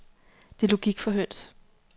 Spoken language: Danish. Det er logik for høns.